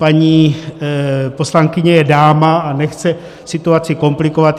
Paní poslankyně je dáma a nechce situaci komplikovat.